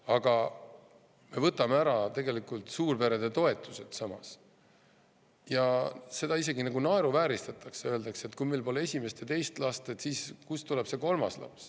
Aga samas me võtame ära suurperede toetused ja seda isegi nagu naeruvääristatakse, öeldakse, et kui meil pole esimest ja teist last, siis kust tuleb see kolmas laps.